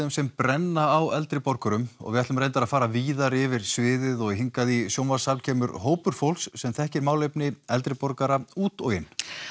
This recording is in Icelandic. sem brenna á eldri borgurum við ætlum reyndar að fara víðar yfir sviðið og hingað í sjónvarpssal kemur hópur fólks sem þekkir málefni eldri borgara út og inn